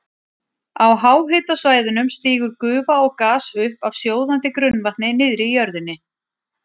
Á háhitasvæðunum stígur gufa og gas upp af sjóðandi grunnvatni niðri í jörðinni.